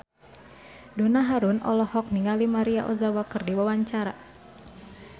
Donna Harun olohok ningali Maria Ozawa keur diwawancara